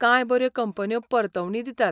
कांय बऱ्यो कंपन्यो परतवणी दितात.